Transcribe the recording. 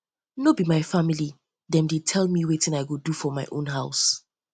um no be my family dem dey tell me wetin i go do for my own house